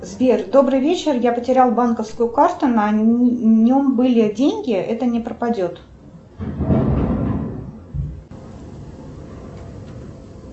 сбер добрый вечер я потерял банковскую карту на нем были деньги это не пропадет